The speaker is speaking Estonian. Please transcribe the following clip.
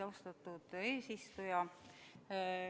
Austatud eesistuja!